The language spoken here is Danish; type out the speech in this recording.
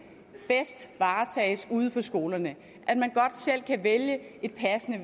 bedst varetages ude på skolerne at man godt selv kan vælge et passende